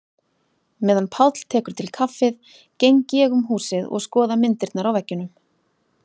Meðan Páll tekur til kaffið geng ég um húsið og skoða myndirnar á veggjunum.